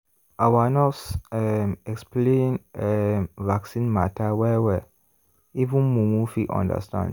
our nurse um explain um vaccine matter well-well even mumu fit understand.